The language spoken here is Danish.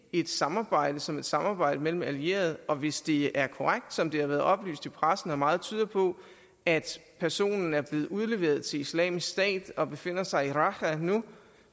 er et samarbejde som et samarbejde mellem allierede og hvis det er korrekt som det har været oplyst i pressen og som meget tyder på at personen er blevet udleveret til islamisk stat og befinder sig i raqqa nu